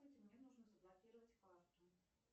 мне нужно заблокировать карту